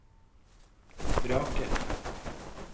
vraker